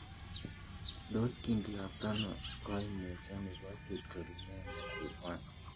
Tos kindiotono koimutioni bo citrullinemia type I ?